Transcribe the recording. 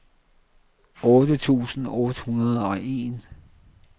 otte tusind otte hundrede og en